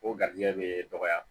O garizigɛ bɛ dɔgɔya